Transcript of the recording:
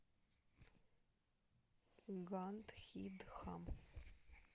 гандхидхам